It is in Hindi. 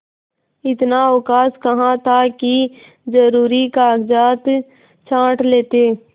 इतना अवकाश कहाँ था कि जरुरी कागजात छॉँट लेते